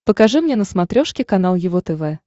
покажи мне на смотрешке канал его тв